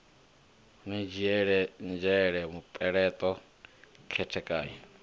ni dzhiele nzhele mupeleṱo khethekanyo